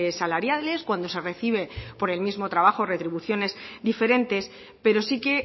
salariales cuando se recibe por el mismo trabajo retribuciones diferentes pero sí que